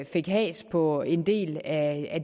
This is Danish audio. fik has på en del af